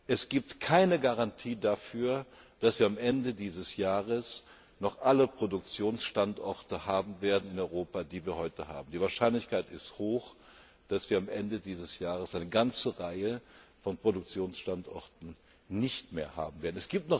Es gibt keine Garantie dafür, dass wir am Ende dieses Jahres noch alle Produktionsstandorte in Europa haben werden, die wir heute haben. Die Wahrscheinlichkeit ist hoch, dass wir am Ende dieses Jahres eine ganze Reihe von Produktionsstandorten nicht mehr haben werden.